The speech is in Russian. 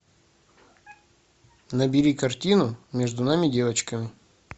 набери картину между нами девочками